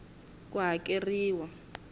ku hakeriwa ku ya hi